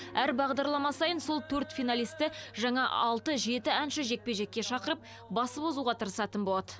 әр бағдарлама сайын сол төрт финалисті жаңа алты жеті әнші жекпе жекке шақырып басып озуға тырысатын болады